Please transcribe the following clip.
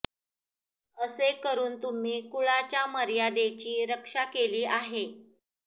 असे करून तुम्ही कुळाच्या मर्यादेची रक्षा केली आहे